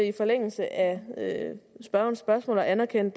i forlængelse af spørgerens spørgsmål at anerkende